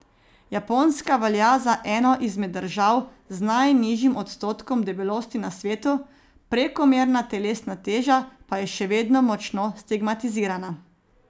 Japonska velja za eno izmed držav z najnižjim odstotkom debelosti na svetu, prekomerna telesna teža pa je še vedno močno stigmatizirana.